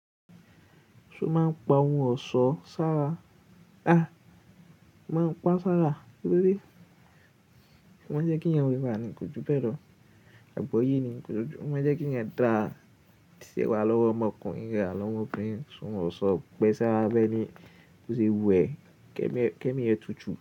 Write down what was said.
Ṣo ma ń pa ohun ọ̀ṣọ́ sára? À, mo pa sára torí. Wọ́n máa ń jẹ́ kí ènìyàn wẹwẹ nì kòjú be lo. Àgbọ́yé nìkòjú. O máa ń jẹ́ kí ènìyàn bose wà lọ́wọ́ ọmọkùnrin lo sewa lowo omobìnrin tí wọ́n ò ṣọ pẹ́ ṣá wá bẹ́ẹ̀ ni ó ṣe wù ẹ́. Kẹ́mi ẹ tutù.